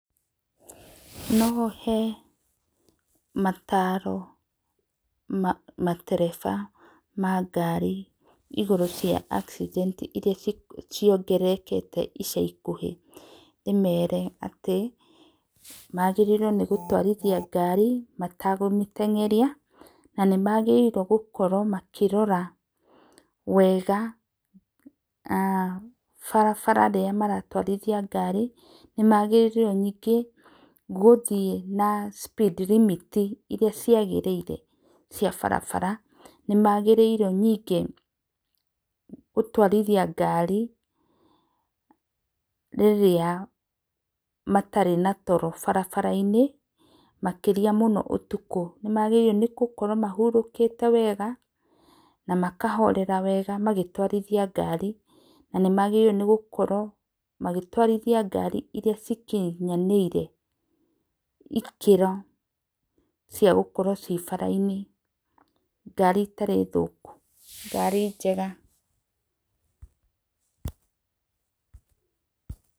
No he mataro matereba ma garĩ igũrũ rĩa accident iria ciongererekete ica ikũhe ndĩmere atĩ magĩrĩirwo gũtwarĩthĩa garĩ matakũmĩtengerĩa, na magĩrĩire gũkorwo magĩrĩire gũkorwo makĩrora wega barabara rĩrĩa maratwarĩthĩa ngari nĩ magĩrĩirwo nĩnge gũthĩe na speed limit iria ciagĩrĩire cia barabara, nĩmagĩrĩirwo nĩnge gũtwarĩthĩa ngarĩ rĩrĩa matarĩ na toro bara inĩ makĩrĩa mũno ũtũko nĩ magĩrĩirwo gũkorwo mahũrĩkĩte wega na makahorera wega magĩtwarĩthĩa ngari na magĩrĩĩrwo nĩ gũkorwo magĩtwarĩthĩa ngari iria cikĩnyanĩire ikĩro cia gũkorwo cie bara inĩ ngari itarĩ thũkũ ngari njega.